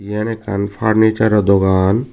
yen ekkan farnichar oh dogan.